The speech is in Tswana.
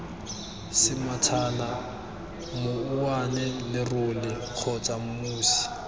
semathana mouwane lerole kgotsa mosi